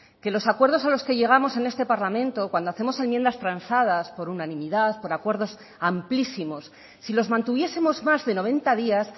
que los acuerdos a los que llegamos en este parlamento cuando hacemos enmiendas transadas por unanimidad por acuerdos amplísimos si los mantuviesemos más de noventa días